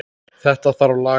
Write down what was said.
Þetta þarf að laga.